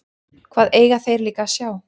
Hvað eiga þeir líka að sjá?